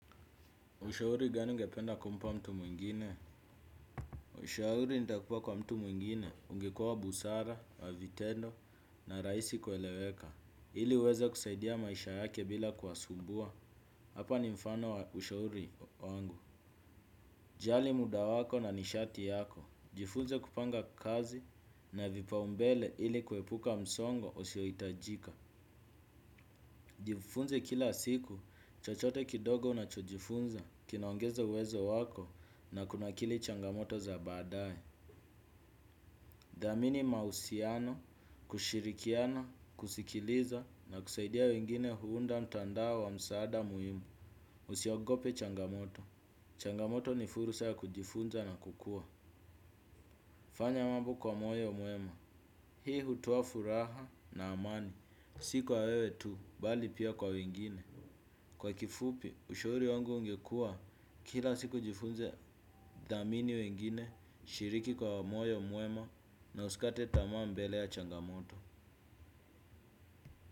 Ushauri gani ungependa kumpa mtu mwingine? Ushauri nitakupa kwa mtu mwingine, ungekua wa busara, wa vitendo, na raisi kueleweka. Hili uweza kusaidia maisha yake bila kuwasumbua. Hapa ni mfano wa ushauri wangu. Jali muda wako na nishati yako. Jifunze kupanga kazi na vipaumbele hili kuepuka msongo usio itajika. Jifunze kila siku, chochote kidogo unachojifunza, kinaongeze uwezo wako na kunakili changamoto za badae. Dhamini mahusiano, kushirikiana, kusikiliza na kusaidia wengine huunda mtandao wa msaada muhimu. Usiogope changamoto, changamoto ni fursa ya kujifunza na kukua. Fanya mambo kwa moyo mwema, hii hutoa furaha na amani, si kwa wewe tu, bali pia kwa wengine. Kwa kifupi, ushauri wangu ungekua kila siku jifunze dhamini wengine, shiriki kwa moyo mwema na usikate tamaa mbele ya changamoto.